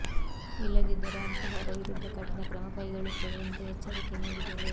ಇಲ್ಲದಿದ್ದರೆ ಅಂತಹವರ ವಿರುದ್ಧ ಕಠಿಣ ಕ್ರಮ ಕೈಗೊಳ್ಳುತ್ತೇವೆ ಎಂದೂ ಎಚ್ಚರಿಕೆ ನೀಡಿದರು